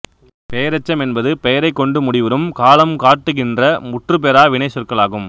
பெயரெச்சம் என்பது பெயரைக் கொண்டு முடிவுறும் காலங்காட்டுகின்ற முற்றுபெறா வினைச் சொற்கள் ஆகும்